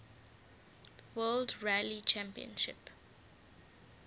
world rally championship